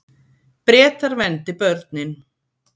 Bretar verndi börnin